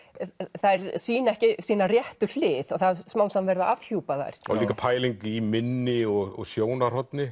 þær sýna ekki sína réttu hlið og það er smám saman verið að afhjúpa þær líka pæling í minni og sjónarhorni